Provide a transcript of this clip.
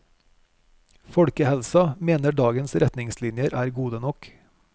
Folkehelsa mener dagens retningslinjer er gode nok.